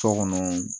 So kɔnɔ